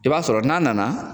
I b'a sɔrɔ n'a nana